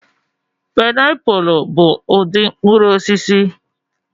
Pịnapụlụ bụ ụdị mkpụrụ osisi.